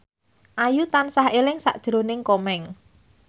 Ayu tansah eling sakjroning Komeng